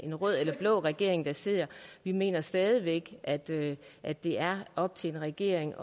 en rød eller blå regering der sidder vi mener stadig væk at det at det er op til en regering